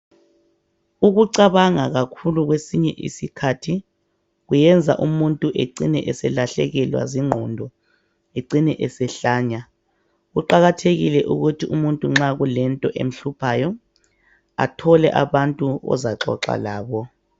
Ukucabanga kakhulu kwesinye isikhathi kuyenza umuntu ecine eselahlekelwa zingqondo ecine esehlanya kuqakathekile ukuthi umuntu nxa kulento emhluphayo athole abantu ozaxoxa labo.